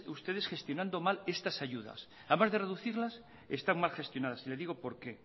ustedes gestionando mal estas ayudas además de recudirlas están mal gestionadas y le digo por qué